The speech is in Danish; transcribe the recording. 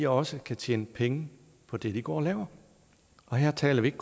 også kan tjene penge på det de går og laver og her taler vi ikke